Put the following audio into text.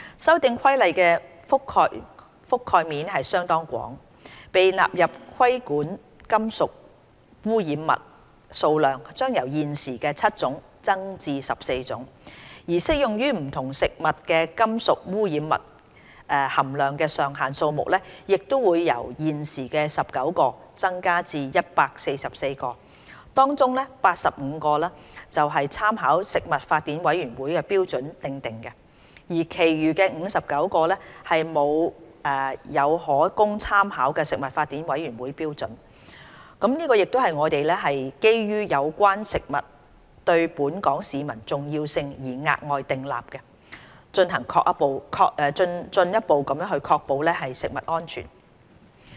《修訂規例》的覆蓋面相當廣，被納入規管的金屬污染物數量將由現時的7種增至14種，而適用於不同食物的金屬污染物含量上限數目會由現時19個增至144個，當中85個是參考食品法典委員會標準訂定的，而其餘59個沒有可供參考的食品法典委員會標準，這亦是我們基於有關食物對本港市民的重要性而額外訂立的，進一步確保食物安全。